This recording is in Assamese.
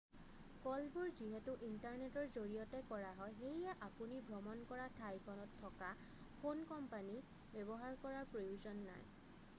কলবোৰ যিহেতু ইণ্টাৰনেটৰ জৰিয়তে কৰা হয় সেয়ে আপুনি ভ্ৰমণ কৰা ঠাইখনত থকা ফোন কোম্পানী ব্যৱহাৰ কৰাৰ প্ৰয়োজন নাই